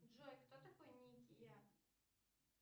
джой кто такой ники я